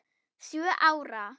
Sjö ára?